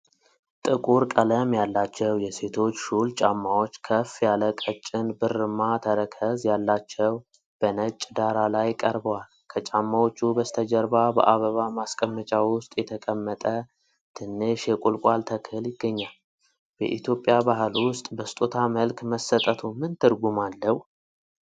ጥቁር ቀለም ያላቸው የሴቶች ሹል ጫማዎች፣ ከፍ ያለ ቀጭን ብርማ ተረከዝ ያላቸው፣ በነጭ ዳራ ላይ ቀርበዋል። ከጫማዎቹ በስተጀርባ በአበባ ማስቀመጫ ውስጥ የተቀመጠ ትንሽ የቁልቋል ተክል ይገኛል። በኢትዮጵያ ባህል ውስጥ ጫማ በስጦታ መልክ መሰጠቱ ምን ትርጉም አለው?